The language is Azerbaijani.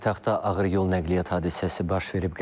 Paytaxtda ağır yol nəqliyyat hadisəsi baş verib.